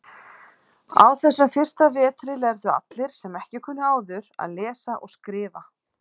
Á þessum fyrsta vetri lærðu allir, sem ekki kunnu áður, að lesa og skrifa.